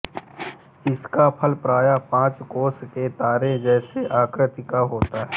इसका फल प्रायः पाँच कोण के तारे जैसी आकृति का होता है